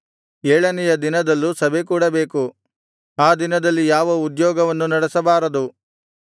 ಏಳನೆಯ ದಿನದಲ್ಲೂ ಸಭೆಕೂಡಬೇಕು ಆ ದಿನದಲ್ಲಿ ಯಾವ ಉದ್ಯೋಗವನ್ನು ನಡೆಸಬಾರದು